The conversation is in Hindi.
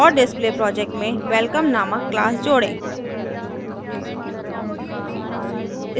और display project में welcome नामक class जोड़ें